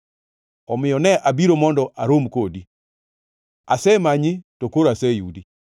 Omiyo ne abiro mondo arom kodi, asemanyi to koro aseyudi!